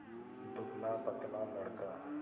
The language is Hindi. दुबलापतला लड़का